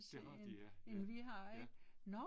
Det har de ja, ja, ja